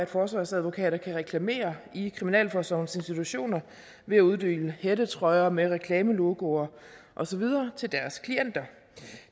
forsvarsadvokater kan reklamere i kriminalforsorgens institutioner ved at uddele hættetrøjer med reklamelogoer og så videre til deres klienter